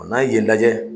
N'an ye yen lajɛ